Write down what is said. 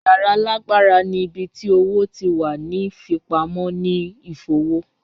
Yara laagbara ni ibi ti owo ti wa ni fipamọ ni a ifowo